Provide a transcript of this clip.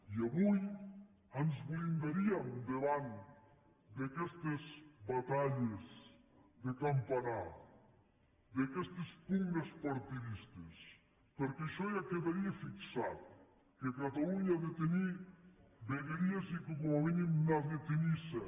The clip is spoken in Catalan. i avui ens blindaríem davant d’aquestes batalles de campanar d’aquestes pugnes partidistes perquè això ja quedaria fixat que catalunya ha de tenir vegueries i que com a mínim n’ha de tenir set